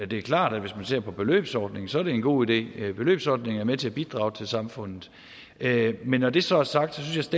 det er klart at hvis man ser på beløbsordningen er det en god idé beløbsordningen er med til at bidrage til samfundet men når det så er sagt synes